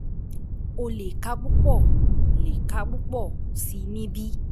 O lè ka púpọ̀ lè ka púpọ̀ sí i níbí.